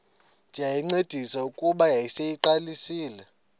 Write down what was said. ndayincedisa kuba yayiseyiqalisile